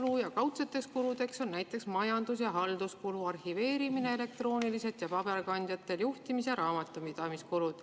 Kaudseteks kuludeks on näiteks majandus- ja halduskulu, arhiveerimine elektrooniliselt ja paberkandjatel, juhtimis- ja raamatupidamiskulud.